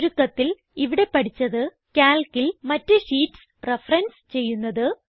ചുരുക്കത്തിൽ ഇവിടെ പഠിച്ചത് Calcൽ മറ്റ് ഷീറ്റ്സ് റഫറൻസ് ചെയ്യുന്നത്